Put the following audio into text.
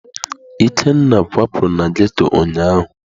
Ikenna kwapụrụ na ghetto ụnyaahụ.